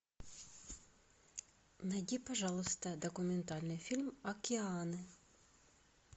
найди пожалуйста документальный фильм океаны